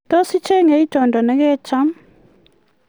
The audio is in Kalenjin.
tos icheng' itondo ne kecham